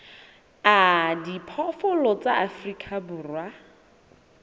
a diphoofolo tsa afrika borwa